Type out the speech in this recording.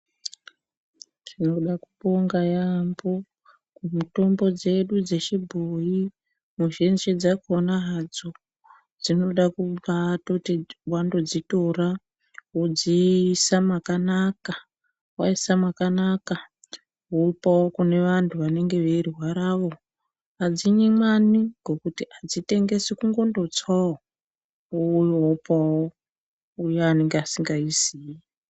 Tinoda kubonga yaambo kumutombo dzedu dzechibhoyi muzhinji dzakona hadzo dzinoda kundoti hadzo wandodzitora wodziisa makanaka. Waisa makanaka wopawo kuvantu vanenge veirwaravo. Adzimwimwani ngekuti adzitengeswi kungondotsawo wouya wopawo uyani usingaiziyi.